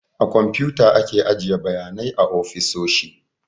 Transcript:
A komputa ake ajiye bayanai a ofisoshi